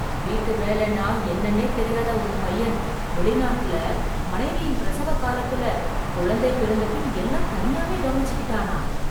வீட்டு வேலைன்னா என்னன்னே தெரியாத உன் பையன், வெளிநாட்டுல, மனைவியின் பிரசவ காலத்துல, குழந்தை பிறந்தபின் எல்லாம் தனியாவே கவனிச்சிக்கிட்டானா...